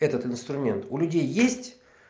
этот инструмент у людей есть